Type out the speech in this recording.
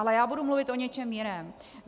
Ale já budu mluvit o něčem jiném.